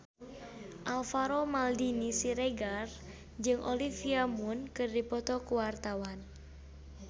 Alvaro Maldini Siregar jeung Olivia Munn keur dipoto ku wartawan